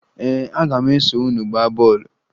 Ee, aga m eso unu gbaa bọọlụ